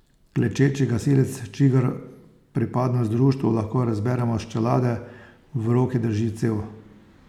Klečeči gasilec, čigar pripadnost društvu lahko razberemo s čelade, v roki drži cev.